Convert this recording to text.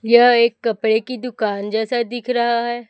यह एक कपड़े की दुकान जैसा दिख रहा है।